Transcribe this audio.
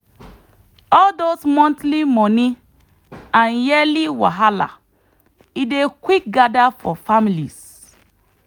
all those monthly money and yearly wahala e dey quick gather for families